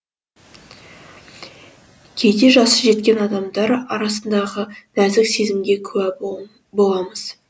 кейде жасы жеткен адамдар арасындағы нәзік сезімге күә боламыз